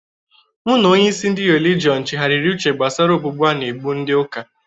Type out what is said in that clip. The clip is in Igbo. Mụ n'onye isi ndị relijiọn chigharịrị uche gbasara ogbugbu a na-gbu ndị ụka.